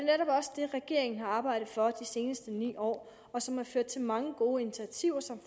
regeringen har arbejdet for de seneste ni år og som har ført til mange gode initiativer som